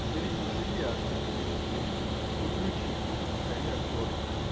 жри не жри а ты будешь блин худеющий то есть не в коня корм